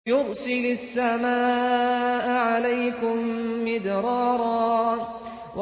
يُرْسِلِ السَّمَاءَ عَلَيْكُم مِّدْرَارًا